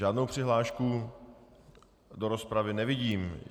Žádnou přihlášku do rozpravy nevidím.